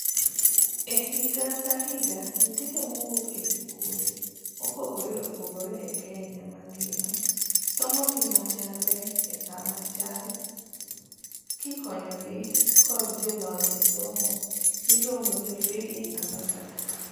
Ehiga kahiga nyithindo mowuok e sikunde mopogre opogre e Kenya mangima somo gima chalre esaa machal kikonyogi kod jolony esomo miluongo ni Reading Ambassadors.